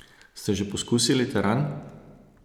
Ste že poskusili teran?